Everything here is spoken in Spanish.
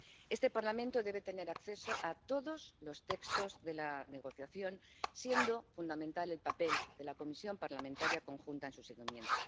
Este Parlamento debe tener acceso a todos los textos de la negociación, siendo fundamental el papel de la Comisión Parlamentaria conjunta en su seguimiento.